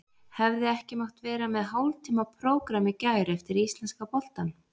Hefði ekki mátt vera með hálftíma prógramm í gær eftir íslenska boltann?